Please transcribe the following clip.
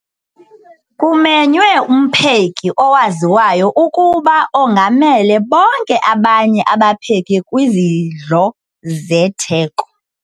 Kumenywe umpheki owaziwayo ukuba ongamele bonke abanye abapheki kwizidlo zetheko.